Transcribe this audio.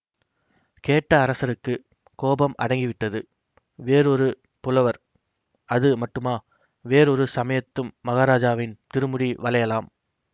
கேட்ட அரசருக்குக் கோபம் அடங்கிவிட்டது வேறொரு புலவர் அது மட்டுமா வேறொரு சமயத்தும் மகாராஜாவின் திருமுடி வளையலாம்